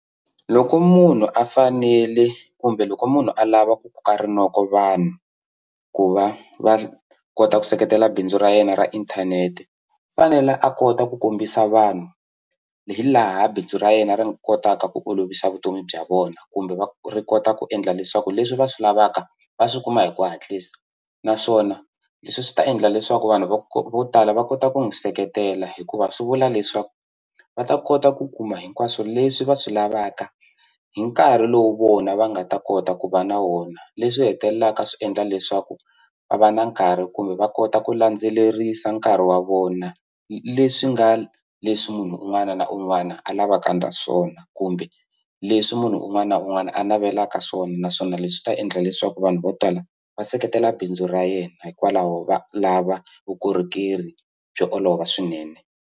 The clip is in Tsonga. Loko munhu a fanele kumbe loko munhu a lava ku koka rinoko vanhu ku va va kota ku seketela bindzu ra yena ra inthanete u fanele a kota ku kombisa vanhu hi laha bindzu ra yena ri nga kotaka ku olovisa vutomi bya vona kumbe va ri kota ku endla leswaku leswi va swi lavaka va swi kuma hi ku hatlisa naswona leswi swi ta endla leswaku vanhu vo vo tala va kota ku n'wi seketela hikuva swi vula leswaku va ta kota ku kuma hinkwaswo leswi va swi lavaka hi nkarhi lowu vona va nga ta kota ku va na wona leswi hetelelaka swi endla leswaku va va na nkarhi kumbe va kota ku landzelerisa nkarhi wa vona leswi nga leswi munhu un'wana na un'wana a lavaka swona kumbe leswi munhu un'wana na un'wana a navelaka swona naswona leswi ta endla leswaku vanhu vo tala va seketela bindzu ra yena hikwalaho va lava vukorhokeri byo olova swinene.